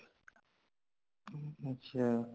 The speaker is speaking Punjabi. ਹੁਮ ਅੱਛਾ